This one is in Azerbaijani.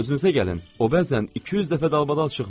O bəzən 200 dəfə dalbadal çıxmır.